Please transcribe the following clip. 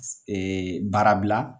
baarabila